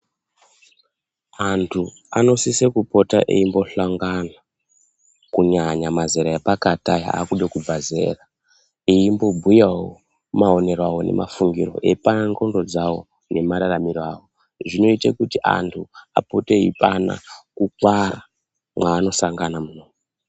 Antu anosise kupota eimbohlangana kunyanya mazera epakati aya akude kubva zera. Eimbobhuyavo maonero avo nemafungiro eipanana ndxondo dzavo nemararamiro avo. Zvinoite kuti antu apote eipana kukwara maanosangana munoumu.